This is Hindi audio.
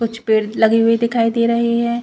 कुछ पेड़ लगी हुई दिखाई दे रहे है।